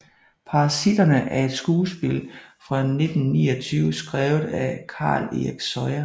Parasitterne er et skuespil fra 1929 skrevet af Carl Erik Soya